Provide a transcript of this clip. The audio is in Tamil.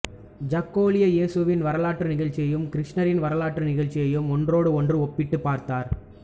ஜாக்கோலியோ இயேசுவின் வரலாற்று நிகழ்ச்சிகளையும் கிருஷ்ணரின் வரலாற்று நிகழ்ச்சிகளையும் ஒன்றோடொன்று ஒப்பிட்டுப் பார்த்தார்